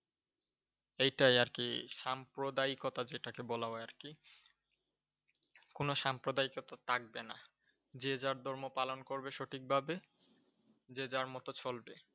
এইটাই আর কি, সাম্প্রদায়িকতা যেটাকে বলা হয় আর কি! কোন সাম্প্রদায়িকতা থাকবে না। যে যার ধর্ম পালন করবে সঠিকভাবে। যে যার মতো চলবে।